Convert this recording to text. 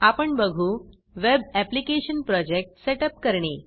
आपण बघू web application project set up करणे